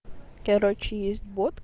короче есть бот